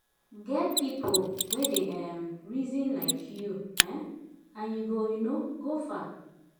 get pipo wey dey um reason lyk yu um nd yu go um go far